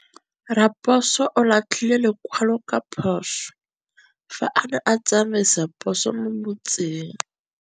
Raposo o latlhie lekwalô ka phosô fa a ne a tsamaisa poso mo motseng.